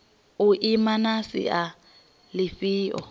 u ima na sia lifhio